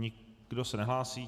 Nikdo se nehlásí.